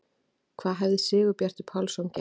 Hvað hefði Sigurbjartur Pálsson gert?